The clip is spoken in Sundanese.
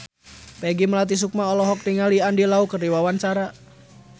Peggy Melati Sukma olohok ningali Andy Lau keur diwawancara